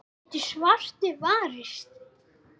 getur svartur varist.